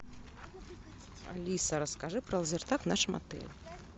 алиса расскажи про лазертаг в нашем отеле